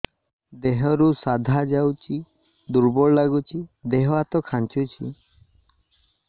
ଦେହରୁ ସାଧା ଯାଉଚି ଦୁର୍ବଳ ଲାଗୁଚି ଦେହ ହାତ ଖାନ୍ଚୁଚି